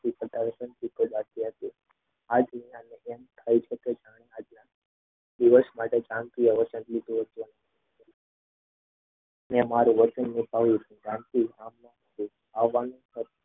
મેં મારું વચન નિભાવ્યું છે જાનકી